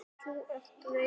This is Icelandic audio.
Þú ert reiður.